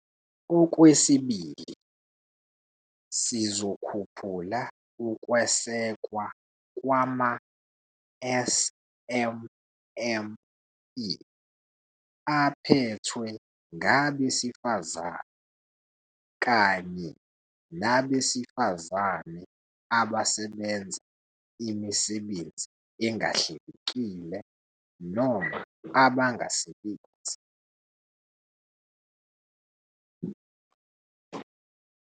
Okwesibili, sizokhuphulaukwesekwa kwama-SMME aphethwe ngabesifazane kanye nabesifazane abasebenza imisebenzi engahlelekile noma abangasebenzi.